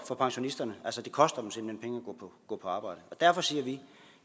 for pensionisterne altså det koster at gå på arbejde derfor siger vi